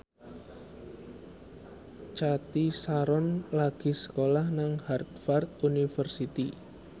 Cathy Sharon lagi sekolah nang Harvard university